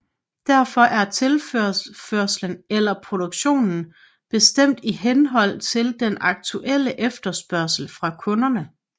Derfor er tilførslen eller produktionen bestemt i henhold til den aktuelle efterspørgsel fra kunderne